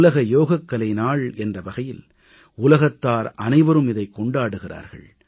உலக யோகக்கலை நாள் என்ற வகையில் உலகத்தார் அனைவரும் இதைக் கொண்டாடுகிறார்கள்